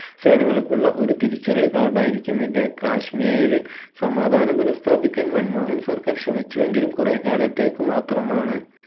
സേനകൾക്കുള്ള ഒരു തിരിച്ചറിയിൽ card ആയിരിക്കും ഇത് കാശ്മീരിൽ സമാധാനം പുനഃസ്ഥാപിക്കാൻ മൻമോഹൻ സർക്കാർ ശ്രമിച്ചു എങ്കിലും കുറെ കാലത്തേക്ക് മാത്രമാണ്‌